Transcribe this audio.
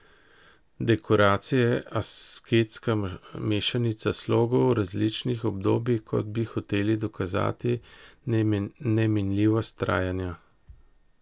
Dekoracija je asketska mešanica slogov različnih obdobij, kot bi hoteli dokazati neminljivost trajanja.